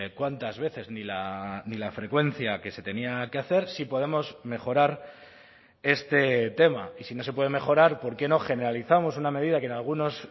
cuántas veces ni la frecuencia que se tenía que hacer si podemos mejorar este tema y si no se puede mejorar por qué no generalizamos una medida que en algunos